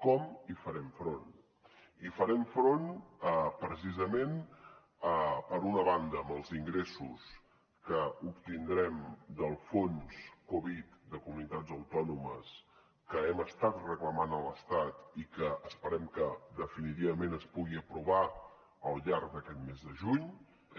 com hi farem front hi farem front precisament per una banda amb els ingressos que obtindrem del fons covid de comunitats autònomes que hem estat reclamant a l’estat i que esperem que definitivament es pugui aprovar al llarg d’aquest mes de juny